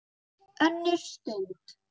ÖNNUR STUND